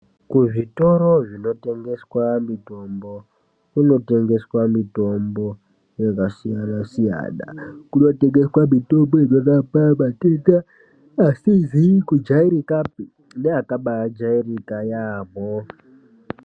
Kuzvitoro zvinotengeswa mitombo kunotengeswa mitombo yakasiyana-siyana. Kunotengeswa mitombo inorapa matenda asizi kujairikapi neakabaajairika yaambo.